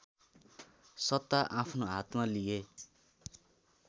सत्ता आफ्नो हातमा लिए